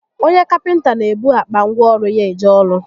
Onye kapịnta n'ebu akpa ngwa ọrụ ya eje ọrụ